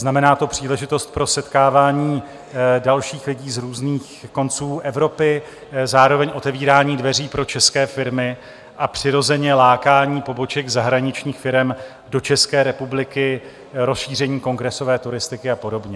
Znamená to příležitost pro setkávání dalších lidí z různých konců Evropy, zároveň otevírání dveří pro české firmy a přirozeně lákání poboček zahraničních firem do České republiky, rozšíření kongresové turistiky a podobně.